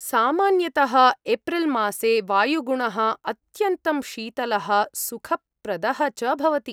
सामान्यतः एप्रिल् मासे वायुगुणः अत्यन्तं शीतलः सुखप्रदः च भवति।